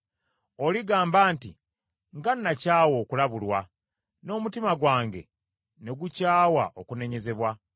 Oligamba nti, “Nga nakyawa okulabulwa, n’omutima gwange ne gukyawa okunenyezebwa,